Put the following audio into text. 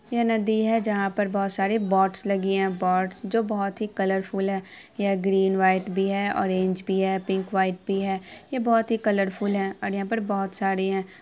यह नदी है जहाँ पर बोहत सारी बोटस लगी हुई है| बोट्स जो की बोहत ही कलऱफूल है| यह ग्रीन - व्हाइट भी है ऑरेंज भी है पिक - व्हाइट भी है| यह बोहत ही कलरफूल है और यहाँ पर बोहत सारी है।